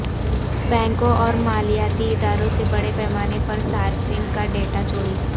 بینکوں اور مالیاتی اداروں سے بڑے پیمانے پر صارفین کا ڈیٹا چوری